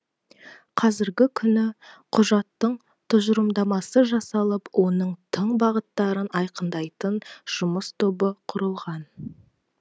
қазіргі күні құжаттың тұжырымдамасы жасалып оның тың бағыттарын айқындайтын жұмыс тобы құрылған